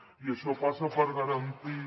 i això passa per garantir